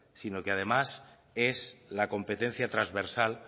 sino que además es la competencia transversal